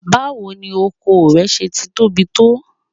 Báwo ni ọkọ rẹ́ ti tóbi tó?